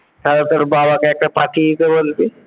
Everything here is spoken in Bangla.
হ্যাঁ তোর বাবাকে একটা পাঠিয়ে দিতে বলবি?